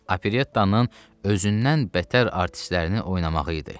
Operettanın özündən bətər artistlərini oynamağı idi.